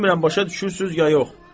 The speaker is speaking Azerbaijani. Bilmirəm başa düşürsüz ya yox.